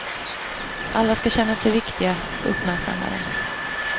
Alla skall känna sig viktiga, uppmärksammade.